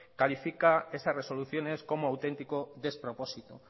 califica esas resoluciones como auténtico despropósito